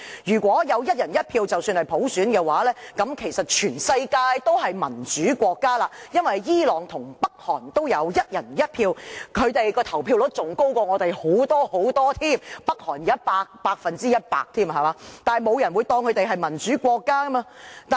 如果有"一人一票"便是普選，這樣其實全世界均是民主國家，因為伊朗和北韓也有"一人一票"，他們的投票率更遠高於香港，北韓的投票率是百分之一百，但沒有人會視他們為民主國家。